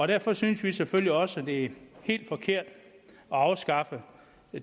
derfor synes vi selvfølgelig også at det er helt forkert at afskaffe